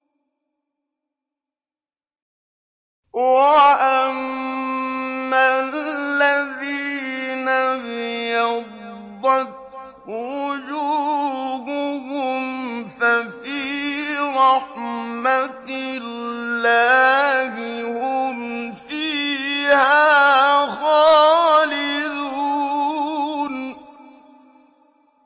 وَأَمَّا الَّذِينَ ابْيَضَّتْ وُجُوهُهُمْ فَفِي رَحْمَةِ اللَّهِ هُمْ فِيهَا خَالِدُونَ